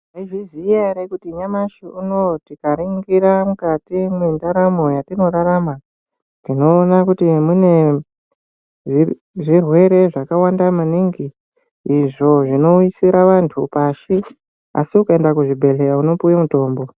Mwaizviziya here kuti nyamashi unouyu tikaringira mukati mwendaramo yatinorarama tinoona kuti mune zvirwere zvakawanda maningi izvo zvinowisira vantu pashi asi ukaenda kuzvibhedhlera unopuwa mutombo.